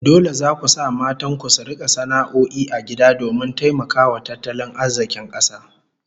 Dole zaku sa matan ku su rika sana'o'i a gida domin taimakawa tattalin arzikin kasa